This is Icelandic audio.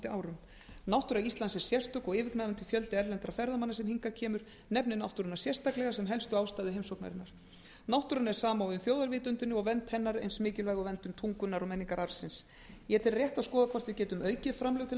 árum náttúra íslands er sérstök og yfirgnæfandi fjöldi erlendra ferðamanna sem hingað kemur nefnir náttúruna sem helstu ástæðu heimsóknarinnar náttúran er samofin þjóðarvitundinni og vernd hennar er eins mikilvæg og verndun tungunnar og menningararfsins ég tel rétt að skoða hvort við getum aukið framlög til